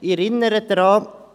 Ich erinnere daran: